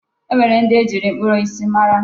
E nwere ndị e ji mkpụrụ osisi mara.